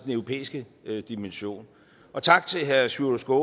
europæiske dimension og tak til herre sjúrður